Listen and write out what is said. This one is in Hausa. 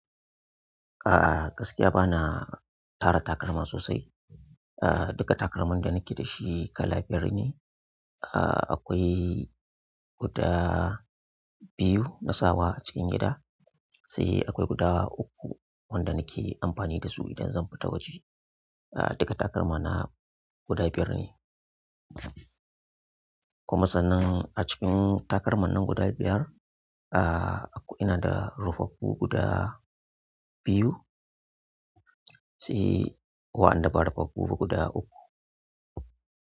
A'a, gaskiya ba na tara takalma sosai. Ah, duka takalman da nake da shi kala biyar ne. Ah, akwai guda biyu na sawa a cikin gida, sai akwai guda uku wanda nake amfani da su idan zan fita waje. Ah, duka takalma na guda biyar ne. Kuma sannan a cikin takalman nan guda biyar, ah, ina da rufaffu guda biyu sai wa'ada ba rufaffu ba guda uku.